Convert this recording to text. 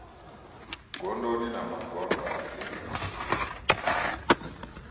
gondoni na magondo a si